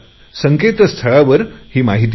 संकेतस्थळावर ही माहिती मिळेल